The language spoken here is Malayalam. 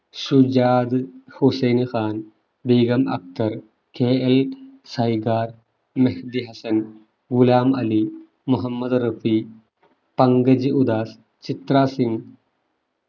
സുജാത് ഹുസൈൻ ഖാൻ, ബീഗം അക്തർ, കെ എൽ സൈഗാർ, മഹ്ദി ഹസ്സൻ, ഗുലാം അലി, മുഹമ്മദ് റഫീഖ്‌, പങ്കജ് ഉദാസ്, ചിത്ര സിങ്